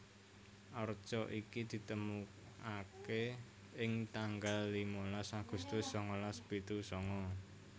Arca iki ditemokaké ing tanggal limalas Agustus sangalas pitu sanga